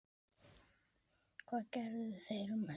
Hvað gerðu þeir um helgina?